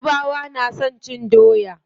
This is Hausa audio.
Yarabawa na son cin doya.